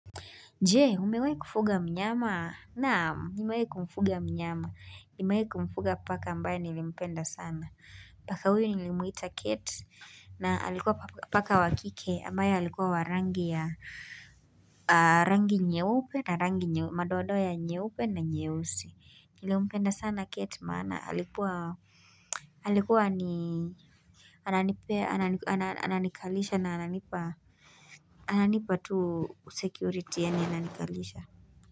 Je, umewai kufuga mnyama? Naam, nimewai kumfuga mnyama. Nimewai kumfuga paka ambaye nilimpenda sana. Paka huyu nilimuita Kate na alikuwa paka wa kike ambaye alikuwa wa rangi ya rangi nyeupe na rangi madoadoa ya nyeupe na nyeusi. Nilimpenda sana Kate maana alikuwa alikuwa ni anani pe anani kalisha na anani pa ananipa tu security yani anani kalisha.